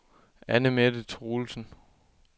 Anne-Mette Truelsen